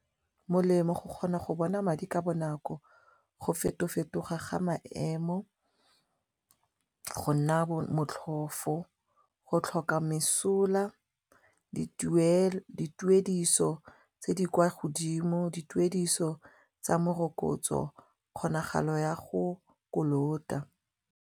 Molemo go kgona go bona madi ka bonako, go feto fetoga ga maemo, go nna motlhofo, go tlhoka mesola, dituediso tse di kwa godimo, dituediso tsa morokotso, kgonagalo ya go kolota.